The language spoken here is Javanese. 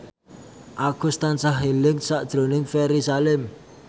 Agus tansah eling sakjroning Ferry Salim